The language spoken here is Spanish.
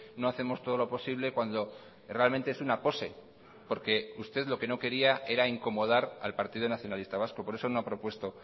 no hacemos todo lo posible cuando realmente es una pose porque usted lo que no quería era incomodar al partido nacionalista vasco por eso no ha propuesto